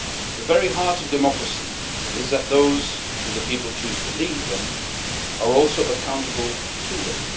The very heart of democracy is that those who the people choose to lead them are also accountable to them.